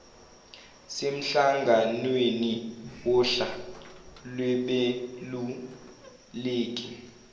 semhlanganweni wohla lwabeluleki